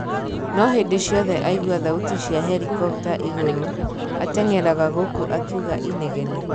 Noo hindi ciothe aigwa thauti cia helikopta igũrũ, ateng'eraga gũkũ akiuga inegene.